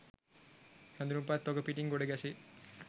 හැඳුනුම්පත් තොග පිටින් ගොඩ ගැසේ